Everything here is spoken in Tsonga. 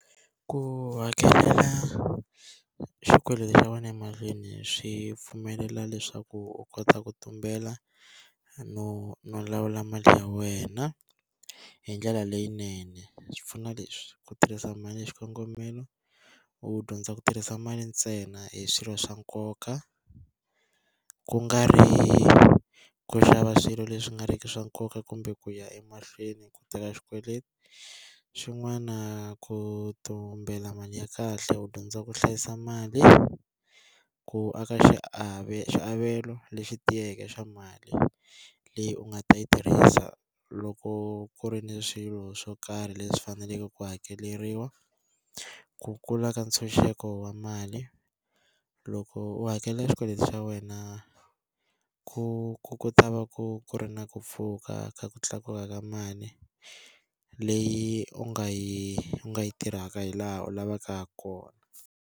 Ku hakela xikweleti xa wena emahlweni swi pfumelela leswaku u kota ku tumbela no no lawula mali ya wena, hi ndlela leyinene. Swipfuno leswi ku tirhisa mali ya xikongomelo, u dyondza ku tirhisa mali ntsena hi swilo swa nkoka ku nga ri ku xava swilo leswi nga riki swa nkoka kumbe ku ya emahlweni ku teka xikweleti. Xin'wana ku tumbela mali ya kahle, u dyondza ku hlayisa mali, ku aka swiavelo leswi tiyeke swa mali leyi u nga ta yi tirhisa loko ku ri ni swilo swo karhi leswi faneleke ku hakeleriwa. Ku kula ka ntshunxeko wa mali. Loko u hakela xikweleti xa wena ku ku ku ta va ku ri na ku pfuka ka ku tlakuka ka mali, leyi u nga yi u nga yi tirhaka hi laha u lavaka ha kona.